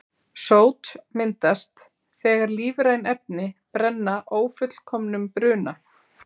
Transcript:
Sót myndast þegar lífræn efni brenna ófullkomnum bruna.